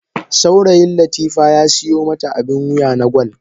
Saurayin latifa ya siyo mata abin wuya na gwal.